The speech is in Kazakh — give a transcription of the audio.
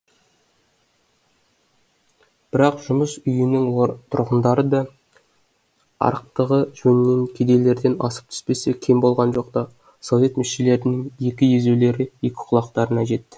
бірақ жұмыс үйінің тұрғындары да арықтығы жөнінен кедейлерден асып түспесе кем болған жоқ та совет мүшелерінің екі езулері екі құлақтарына жетті